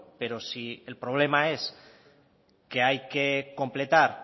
pero si el problema es que hay que completar